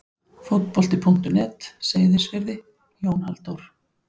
Fótbolti.net, Seyðisfirði- Jón Halldór.